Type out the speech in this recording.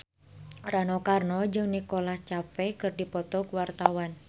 Rano Karno jeung Nicholas Cafe keur dipoto ku wartawan